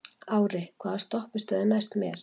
Ári, hvaða stoppistöð er næst mér?